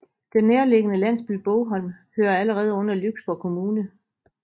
Den nærliggende landsby Bogholm hører allerede under Lyksborg Kommune